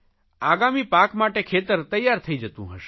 આગામી પાક માટે ખેતર તૈયાર થઇ જતું હશે